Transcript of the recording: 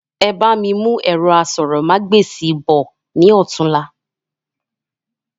Ebá mi mú ẹ̀rọ asọ̀rọ̀ ma gba èsì bọ̀ ní ọ̀túla